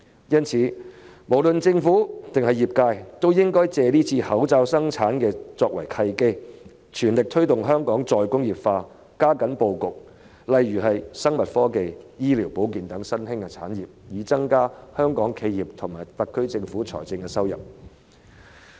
因此，無論政府還是業界，均應以這次口罩生產作為契機，全力推動香港再工業化，加緊規劃生物科技、醫療保健等新興產業的布局，以增加香港企業和特區政府的財政收入。